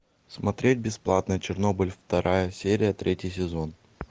смотреть бесплатно чернобыль вторая серия третий сезон